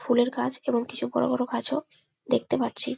ফুলের গাছ এবং কিছু বড়ো বড়ো গাছ ও দেখতে পাচ্ছি।